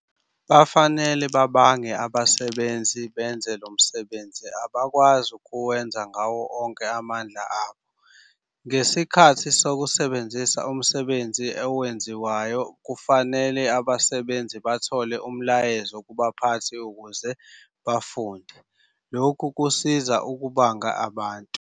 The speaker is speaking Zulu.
Bafanele babange abasebenzi benze lo msebenzi abakwazi kuwenza ngawo onke amandla abo. Ngesikhathi sokusebenzisa umsebenzi owenziwayo kufanele abasebenzi bathole umlayezo kubaphathi ukuze bafunde, lokhu kusiza ukubanga abantu.